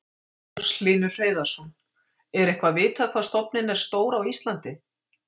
Magnús Hlynur Hreiðarsson: Er eitthvað vitað hvað stofninn er stór á Íslandi?